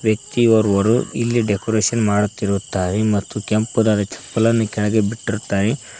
ವ್ಯಕ್ತಿ ಓರ್ವರು ಇಲ್ಲಿ ಡೆಕೋರೇಷನ್ ಮಾಡುತ್ತಿರುತ್ತಾರೆ ಮತ್ತು ಕೆಂಪುದಾದ ಚಪ್ಪಲನ್ನು ಕೆಳಗೆ ಬಿಟ್ಟಿರುತ್ತಾರೆ.